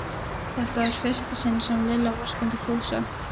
Þetta var í fyrsta sinn sem Lilla vorkenndi Fúsa.